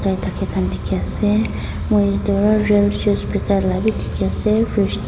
ahi thaka khan dekhi ase moi etu real juice dekhai vi dekhi ase fridge .